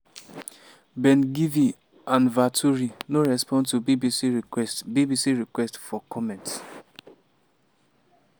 ben-gvir and vaturi no respond to bbc requests bbc requests for comment.